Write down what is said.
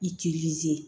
Ilizi